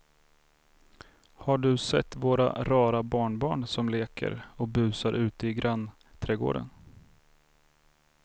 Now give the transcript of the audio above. Har du sett våra rara barnbarn som leker och busar ute i grannträdgården!